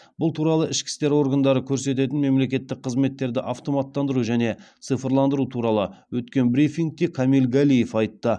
бұл туралы ішкі істер органдары көрсететін мемлекеттік қызметтерді автоматтандыру және цифрландыру туралы өткен брифингте камиль галиев айтты